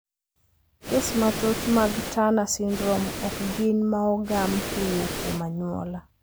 Kes mathoth mag Turner syndrome okgin maogam kowuok kuom anyuola.